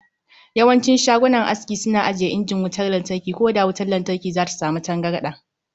Yawancin shagunan aski suna ajiye injin wutar latarki ko da wutar lantarki zata samu tangarda.